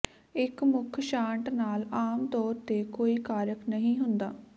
ਇੱਕ ਮੁੱਖ ਸ਼ਾਟ ਨਾਲ ਆਮ ਤੌਰ ਤੇ ਕੋਈ ਕਾਰਕ ਨਹੀਂ ਹੁੰਦਾ